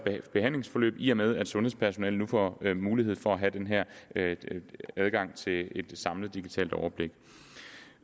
behandlingsforløb i og med at sundhedspersonalet nu får mulighed for at have den her adgang til et samlet digitalt overblik